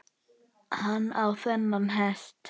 Hann á þennan hest.